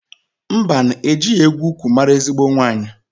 Mbanụ! Ejighi egwu ukwu maara ezigbo nwaanyị.